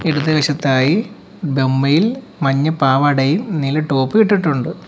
ഇപ്പുറത്തെ വശത്തായി ബമ്മയിൽ മഞ്ഞ പാവാടയും നീല ടോപ്പും ഇട്ടിട്ടുണ്ട്.